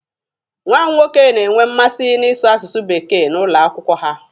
Nwa m nwoke na-enwe mmasị n'ịsụ asụsụ bekee n'ụlọakwụkwọ ha.